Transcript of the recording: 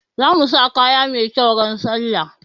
Zamu sa kaya mai kyau ran sallah